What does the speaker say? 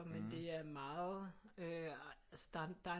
Men det er meget øh altså der